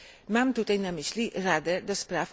Mam tutaj na myśli Radę ds.